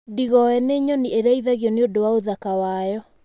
Ndigoe nĩ nyoni ĩrĩithagio nĩ ũndũ wa ũthaka wayo.